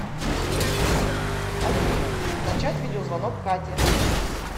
афина начать видеозвонок кате